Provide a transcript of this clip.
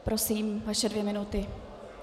Prosím, vaše dvě minuty.